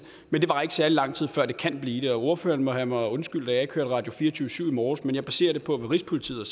men det varer ikke særlig lang tid før det kan blive det og ordføreren må have mig undskyldt at jeg ikke hørte radio24syv i morges men jeg baserer det på hvad rigspolitiet